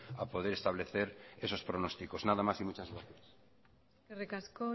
a poder establecer esos pronósticos nada más y muchas gracias eskerrik asko